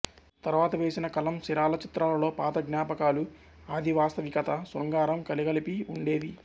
తర్వాత వేసిన కలం సిరాల చిత్రాలలో పాత జ్ఞాపకాలు అధివాస్తవికత శృంగారం కలగలిపి ఉండేవి